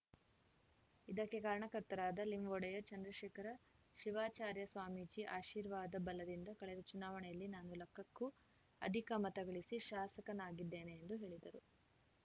ಇದಕ್ಕೆ ಕಾರಣಕರ್ತರಾದ ಲಿಂ ಒಡೆಯರ್‌ ಚಂದ್ರಶೇಖರಶಿವಾಚಾರ್ಯ ಸ್ವಾಮೀಜಿ ಆಶೀರ್ವಾದ ಬಲದಿಂದ ಕಳೆದ ಚುನಾವಣೆಯಲ್ಲಿ ನಾನು ಲಕ್ಕಕ್ಕೂ ಅಧಿಕ ಮತಗಳಿಸಿ ಶಾಸಕನಾಗಿದ್ದೇನೆ ಎಂದು ಹೇಳಿದರು